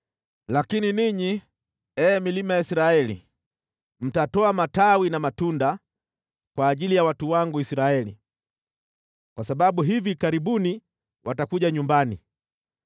“ ‘Lakini ninyi, ee milima ya Israeli, mtatoa matawi na matunda kwa ajili ya watu wangu Israeli, kwa sababu hivi karibuni watakuja nyumbani.